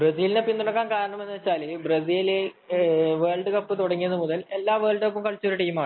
ബ്രസീലിനെ പിന്തുണക്കുന്നത് എന്താണെന്നു വച്ചാല് ബ്രസീൽ വേൾഡ് കപ്പ് തുടങ്ങിയതുമുതൽ എല്ലാ എല്ലാ വേൾഡ് കപ്പും കളിച്ചോരു ടീം ആണ്